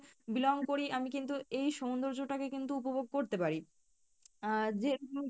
belong করি আমি কিন্তু এই সৌন্দর্য টাকে কিন্তু উপভোগ করতে পারি আহ যে